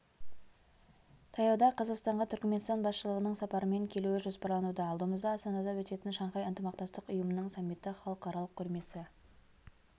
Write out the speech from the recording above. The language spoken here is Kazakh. таяуда қазақстанға түрікменстан басшылығының сапармен келуі жоспарлануда алдымызда астанада өтетін шанхай ынтымақтастық ұйымының саммиті халықаралық көрмесі